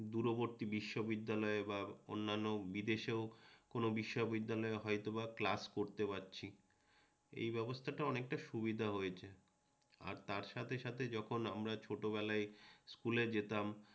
দূরবর্তী বিশ্ববিদ্যালয়ে বা অন্যান্য বিদেশেও কোনও বিশ্ববিদ্যালয়ে হয়তোবা ক্লাস করতে পারছি এই ব্যবস্থাটা অনেকটা সুবিধা হয়েছে আর তার সাথে সাথে যখন আমরা ছোটবেলায় স্কুলে যেতাম